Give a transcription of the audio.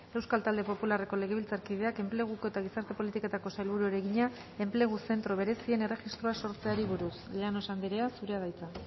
euskal talde popularreko legebiltzarkideak enpleguko eta gizarte politiketako sailburuari egina enplegu zentro berezien erregistroa sortzeari buruz llanos andrea zurea da hitza